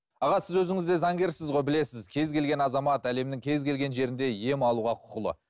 аға сіз өзіңіз де заңгерсіз ғой білесіз кез келген азамат әлемнің кез келген жерінде ем алуға құқылы